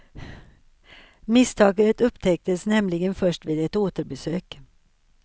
Misstaget upptäcktes nämligen först vid ett återbesök.